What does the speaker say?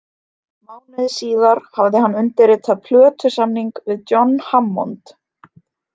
Mánuði síðar hafði hann undirritað plötusamning við John Hammond